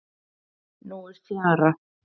Nú er fjara.